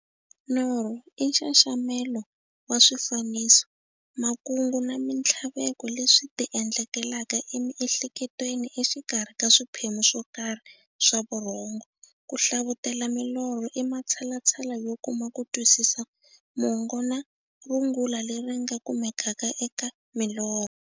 Norho i nxaxamelo wa swifaniso, makungu na minthlaveko leswi ti endlekelaka e miehleketweni exikarhi ka swiphemu swokarhi swa vurhongo. Ku hlavutela milorho i matshalatshala yo kuma kutwisisa mongo na rungula leri nga kumekaka eka milorho.